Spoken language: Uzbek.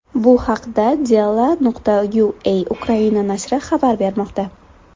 Bu haqda Delo.ua Ukraina nashri xabar bermoqda.